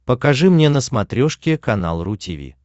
покажи мне на смотрешке канал ру ти ви